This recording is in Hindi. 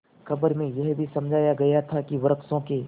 खबर में यह भी समझाया गया था कि वृक्षों के